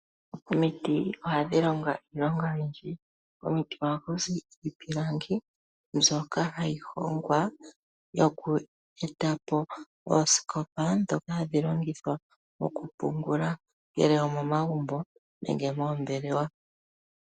Omiti ohadhi longo iilonga oyindji. Komiti ohaku zi iipilangi mbyoka hayi hongwa yokweeta po oosikopa ndhoka hadhi longithwa mokupungula ongele omomagumbo nenge omoombelewa.